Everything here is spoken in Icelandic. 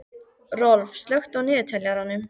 Rolf, slökktu á niðurteljaranum.